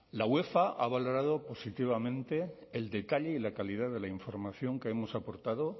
la uefa ha valorado positivamente el detalle y la calidad de la información que hemos aportado